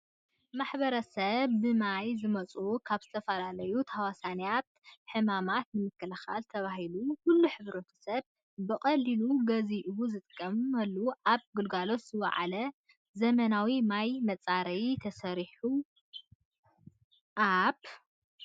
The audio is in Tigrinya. ማሕበረሰብ ብማይ ዝመፁ ካብ ዝተፈላለዩ ተሃዋስያን ሕማማት ንምክልኽል ተባሂሉ ኩሉ ሕብረተሰብ ብቐሊሉ ገዚኡ ዝጥቀመሉ ኣብ ግልጋሎት ዝወዓለ ዘመናዊ ማይ መፃረይ ተሰሪሑ ኣብ